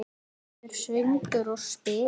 Það verður söngur og spil.